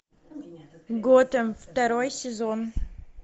готэм второй сезон